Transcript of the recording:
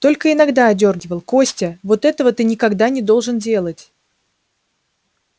только иногда одёргивал костя вот этого ты никогда не должен делать